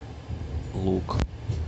лук